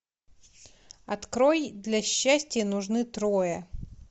открой для счастья нужны трое